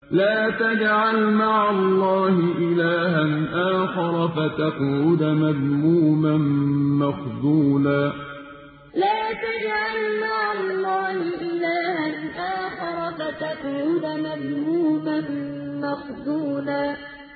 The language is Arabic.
لَّا تَجْعَلْ مَعَ اللَّهِ إِلَٰهًا آخَرَ فَتَقْعُدَ مَذْمُومًا مَّخْذُولًا لَّا تَجْعَلْ مَعَ اللَّهِ إِلَٰهًا آخَرَ فَتَقْعُدَ مَذْمُومًا مَّخْذُولًا